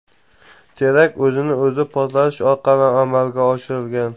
Terakt o‘zini o‘zi portlatish orqali amalga oshirilgan.